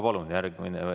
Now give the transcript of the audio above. Palun järgmine!